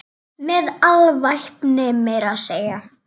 Með alvæpni meira að segja!